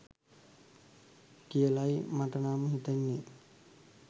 කියලයි මටනම් හිතෙන්නෙ.